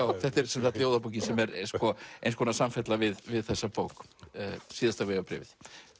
þetta er ljóðabókin sem er eins konar samfella við við þessa bók síðasta vegabréfið